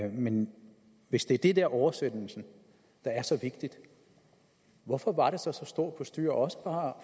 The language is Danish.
om men hvis det er det med oversættelsen der er så vigtigt hvorfor var der så så stort postyr også fra